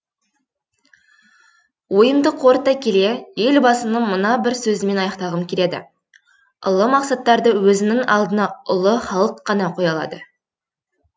ойымды қорыта келе елбасының мына бір сөзімен аяқтағым келеді ұлы мақсаттарды өзінің алдына ұлы халық қана қоя алады